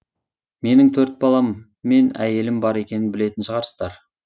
менің төрт балам мен әйелім бар екенін білетін шығарсыздар